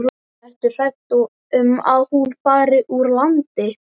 Ertu hrædd um að hún fari úr landi?